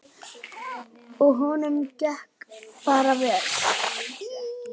Og honum gekk bara vel.